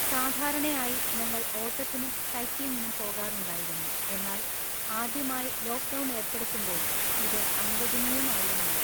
സാധാരണയായി, ഞങ്ങൾ ഓട്ടത്തിനും സൈക്ലിംഗിനും പോകാറുണ്ടായിരുന്നു, എന്നാൽ ആദ്യമായി ലോക്ക്ഡൗൺ ഏർപ്പെടുത്തുമ്പോൾ ഇത് അനുവദനീയം ആയിരുന്നില്ല.